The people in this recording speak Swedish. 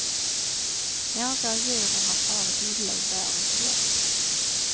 Några av djuren har farit illa under årens lopp.